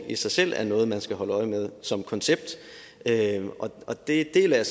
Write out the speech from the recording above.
i sig selv er noget man skal holde øje med som koncept og det deler jeg